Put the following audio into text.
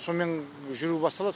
сомен жүру басталады